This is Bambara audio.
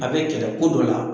A bɛ kɛlɛ ko dɔ la.